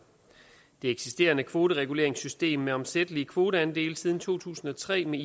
det eksisterende kvotereguleringssystem med omsættelige kvoteandele siden to tusind og tre med